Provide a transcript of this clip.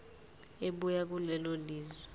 ebuya kulelo lizwe